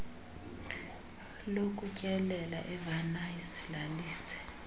lokutyelela evenice lalise